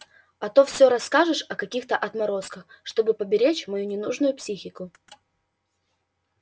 а то всё рассказываешь о каких-то отморозках чтобы поберечь мою ненужную психику